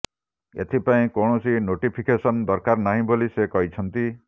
ଏଥିପାଇଁ କୌଣସି ନୋଟିଫିକେସନ ଦରକାର ନାହିଁ ବୋଲି ସେ କହିଛନ୍ତି